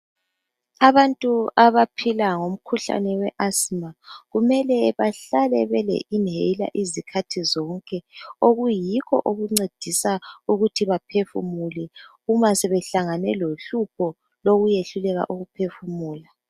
Abantu abaphila ngomkhuhlane we asthma kumele behlale bele inhaler izikhathi zonke okuyikho okuncedisa ukuthi baphefumule uma sebehlangane lohlupho lokwehluleka ukuphefumula